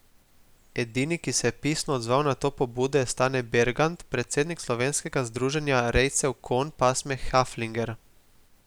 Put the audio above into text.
Edini, ki se je pisno odzval na to pobudo je Stane Bergant, predsednik Slovenskega združenja rejcev konj pasme Haflinger.